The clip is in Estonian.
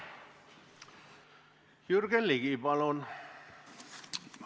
Jürgen Ligi, palun!